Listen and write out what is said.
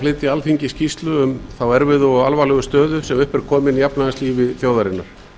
flytja alþingi skýrslu um þá erfiðu og alvarlegu stöðu sem upp er komin í efnahagslífi þjóðarinnar